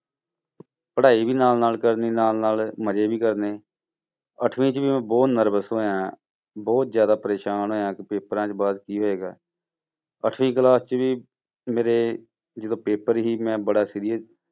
ਪੜ੍ਹਾਈ ਵੀ ਨਾਲ ਨਾਲ ਕਰਨੀ ਨਾਲ ਨਾਲ ਮਜ਼ੇ ਵੀ ਕਰਨੇ, ਅੱਠਵੀਂ 'ਚ ਬਹੁਤ nervous ਹੋਇਆਂ, ਬਹੁਤ ਜ਼ਿਆਦਾ ਪਰੇਸਾਨ ਹੋਇਆਂ ਕਿ ਪੇਪਰਾਂ ਦੇ ਬਾਅਦ ਕੀ ਹੋਏਗਾ, ਅੱਠਵੀਂ class 'ਚ ਵੀ ਮੇਰੇ ਜਦੋਂ ਪੇਪਰ ਸੀ ਮੈਂ ਬੜਾ serious